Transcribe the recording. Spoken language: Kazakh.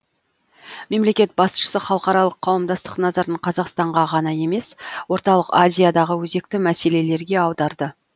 мемлекет басшысы халықаралық қауымдастық назарын қазақстанға ғана емес орталық азиядағы өзекті мәселелерге аударды